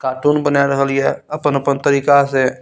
Cartoon बना रहलिये अपन-अपन तरीका से।